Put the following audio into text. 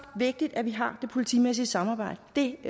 vigtigt at vi har det politimæssige samarbejde det